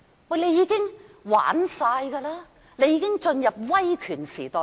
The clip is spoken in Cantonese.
政府已經操控一切，香港已經進入威權時代。